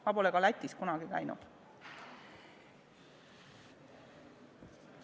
Ma pole ka Lätis kunagi käinud.